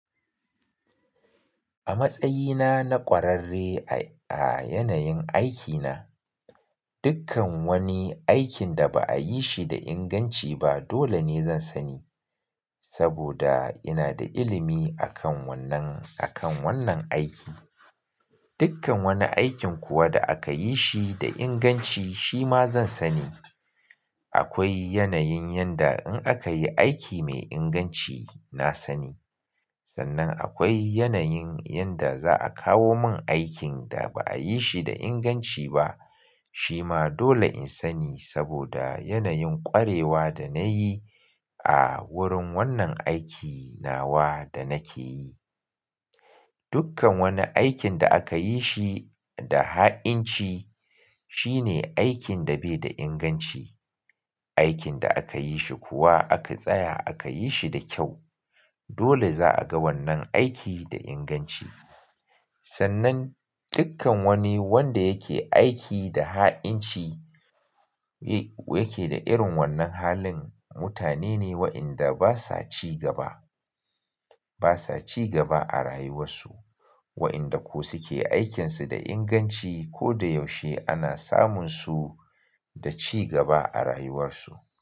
A matsayina na ƙwararre a, a yanayin aikina, dukkan wani aikin da ba a yi shi da inganci ba dole ne zan sani saboda ina da ilimi akan wannan, akan wannan aiki. Dukkan wani aikin kuwa da aka yi shi da inganci shi ma zan sani. Akwai yanayin yanda in aka yi aiki mai inganci na sani. Sannan akwai yanayin yanda za a kawo mun aikin da ba a yi shi da inganci ba, shi ma dole in sani saboda yanayin ƙwarewa da na yi a wurin wannan aiki nawa da nake yi. Dukkan wani aikin da aka yi shi da ha'inci shine aikin da bai da inganci. Aikin da aka yi shi kuwa aka tsaya aka yi shi da kyau, dole za a ga wannan aiki da inganci. Sannan dukkan wani wanda yake aiki da ha'inci yake da irin wannan halin mutane ne waɗanda basa cigaba, basa cigaba a rayuwarsu. Waɗanda ko suke aikinsu da inganci ko da yaushe ana samun su da cigaba a rayuwarsu.